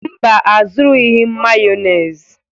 Mba, azụrụghị m Mayonezi.